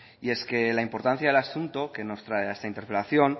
y es que la importancia del asunto que nos trae a esta interpelación